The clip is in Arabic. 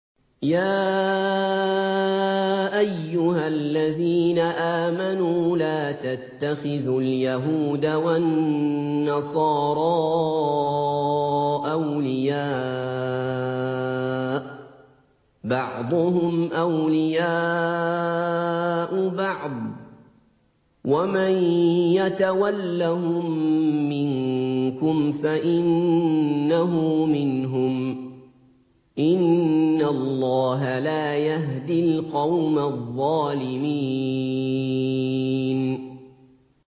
۞ يَا أَيُّهَا الَّذِينَ آمَنُوا لَا تَتَّخِذُوا الْيَهُودَ وَالنَّصَارَىٰ أَوْلِيَاءَ ۘ بَعْضُهُمْ أَوْلِيَاءُ بَعْضٍ ۚ وَمَن يَتَوَلَّهُم مِّنكُمْ فَإِنَّهُ مِنْهُمْ ۗ إِنَّ اللَّهَ لَا يَهْدِي الْقَوْمَ الظَّالِمِينَ